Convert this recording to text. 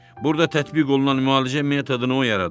Burda tətbiq olunan müalicə metodunu o yaradıb.